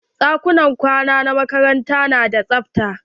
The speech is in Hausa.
Ɗakunan kwana na ɗalibai na makarantar na da tsafta.